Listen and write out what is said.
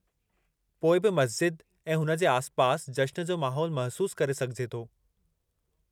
पोइ बि मस्ज़िद ऐं हुन जे आसिपासि जश्न जो माहौल महसूसु करे सघिजे थो।